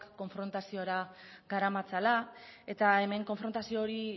konfrontaziora garamatzala eta hemen konfrontazio hori